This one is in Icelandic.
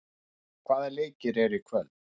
Vök, hvaða leikir eru í kvöld?